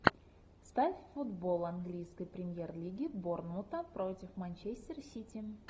ставь футбол английской премьер лиги борнмута против манчестер сити